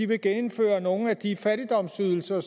vil genindføre nogle af de fattigdomsydelser